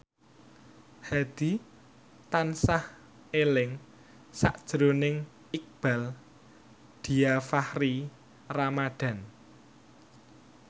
Hadi tansah eling sakjroning Iqbaal Dhiafakhri Ramadhan